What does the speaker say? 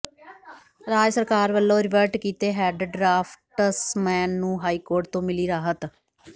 ਰਾਜ ਸਰਕਾਰ ਵਲੋਂ ਰਿਵਰਟ ਕੀਤੇ ਹੈਡ ਡਰਾਫ਼ਟਸਮੈਨ ਨੂੰ ਹਾਈਕੋਰਟ ਤੋਂ ਮਿਲੀ ਰਾਹਤ